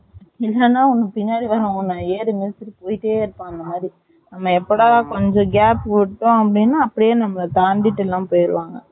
ன்னு இல்லனா உனக்கு பின்னாடி வருவான் உன் ஏறி மதிச்சிட்டு போய்ட்டே இருப்பான்னு நம்ம எப்போட கொஞ்சம் gap விட்டோம் அப்படின்னா நம்மால தாண்டிட்டு எல்லாம். போயிருவாங்க